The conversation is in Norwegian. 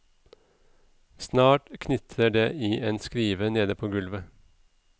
Snart knitret det i en skriver nede på gulvet.